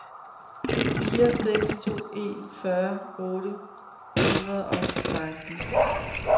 fire seks to en fyrre otte hundrede og seksten